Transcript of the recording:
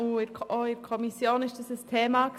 er war auch in der Kommission ein Thema.